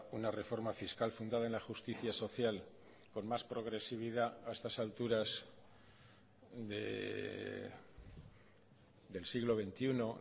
una reforma fiscal fundada en la justicia social con más progresividad a estas alturas del siglo veintiuno